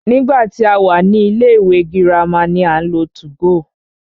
Nígbà tí a wà ní ilé ìwé girama ni à ń lo 2go.